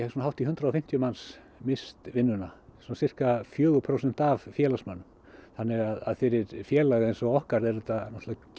hátt í hundrað og fimmtíu manns misst vinnuna svona sirka fjögur prósent af félagsmönnum þannig að fyrir félag eins og okkar er þetta